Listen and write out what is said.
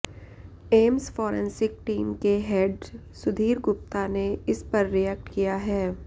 AIIMS forensic team के head Sudhir Gupta ने इस पर रिएक्ट किया है